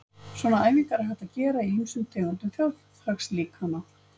Svona æfingar er hægt að gera í ýmsum tegundum þjóðhagslíkana.